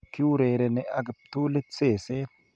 kiurereni AK kiptulit seset